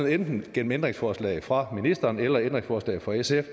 og enten gennem ændringsforslag fra ministeren eller ændringsforslag fra sf